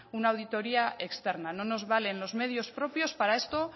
una auditoría externa no nos valen los medios propios para esto